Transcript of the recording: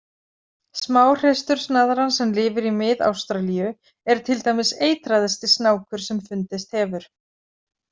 Smáhreistursnaðran sem lifir í Mið-Ástralíu er til dæmis eitraðasti snákur sem fundist hefur.